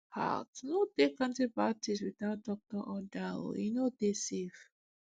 haltno take antibiotics without doctor order oe no dey safe